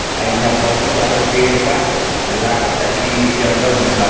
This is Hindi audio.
आ हीया बहुत ज्यादा पेड़ बा लागाता की जंगल में बा।